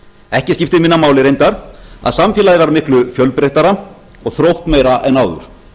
ekki skiptir minna máli reyndar að samfélagið var miklu fjölbreyttara og þróttmeira en áður